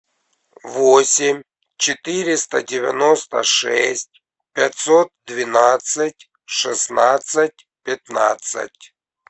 восемь четыреста девяносто шесть пятьсот двенадцать шестнадцать пятнадцать